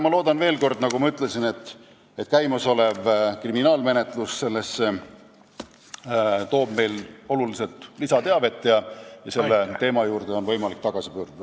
Ma loodan, nagu ma ütlesin, et käimasolev kriminaalmenetlus toob meile oluliselt lisateavet ja selle teema juurde on võimalik tagasi pöörduda.